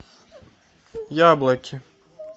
яблоки